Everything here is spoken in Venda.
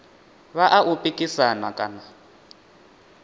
vha a u pikisana kana